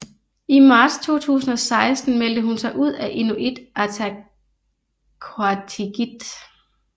I marts 2016 meldte hun sig ud af Inuit Ataqatigiit